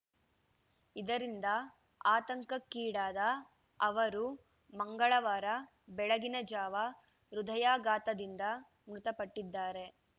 ಇದರಿಂದ ಆತಂಕಕ್ಕೀಡಾದ ಅವರು ಮಂಗಳವಾರ ಬೆಳಗಿನ ಜಾವ ಹೃದಯಾಘಾತದಿಂದ ಮೃತಪಟ್ಟಿದ್ದಾರೆ